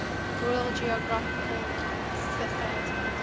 royal geographical society